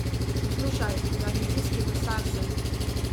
Poslušaj, garnizijski mesar sem.